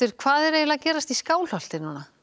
hvað er að gerast í Skálholti